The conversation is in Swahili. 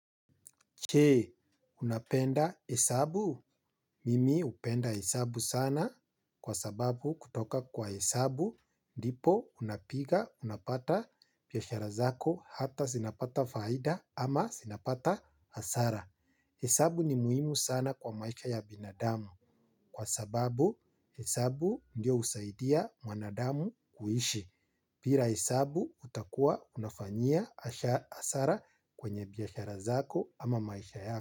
Je, unapenda hesabu? Mimi upenda hesabu sana kwa sababu kutoka kwa hesabu, ndipo unapiga, unapata biashara zako hata sinapata faida ama sinapata hasara. Hesabu ni muhimu sana kwa maisha ya binadamu kwa sababu hesabu ndio usaidia mwanadamu kuishi. Pila hesabu utakua unafanyia asara kwenye biashara zako ama maisha yako.